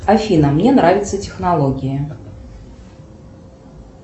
афина мне нравятся технологии